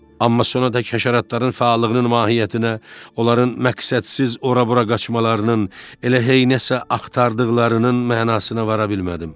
Amma sonra da kəşaratların fəallığının mahiyyətinə, onların məqsədsiz ora-bura qaçmalarının, elə heynə sən axtardıqlarının mənasına vara bilmədim.